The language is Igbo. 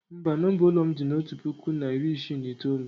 mba, nomba ụlọ m dị na otu puku na iri isii na itoolu